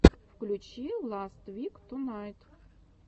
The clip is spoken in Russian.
включи ласт вик тунайт